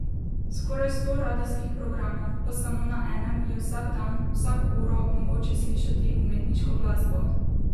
Skoraj sto radijskih programov, pa samo na enem je vsak dan, vsako uro mogoče slišati umetniško glasbo!